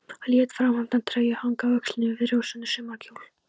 Lét fráhneppta treyju hanga á öxlunum yfir rauðrósóttum sumarkjól.